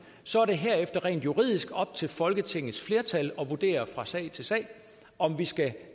så er det herefter rent juridisk op til folketingets flertal at vurdere fra sag til sag om vi skal